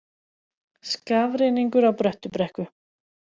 Skafrenningur á Bröttubrekku